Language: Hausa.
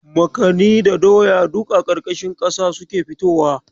Makani da doya duk a ƙarƙashin kasa suke fitowa.